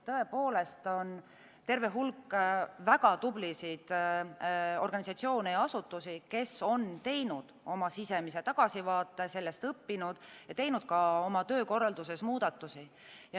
Tõepoolest, on terve hulk väga tublisid organisatsioone ja asutusi, kes on teinud oma sisemise tagasivaate, on sellest õppinud ja teinud ka oma töökorralduses muudatusi.